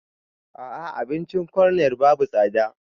A'a abincin corner babu tsada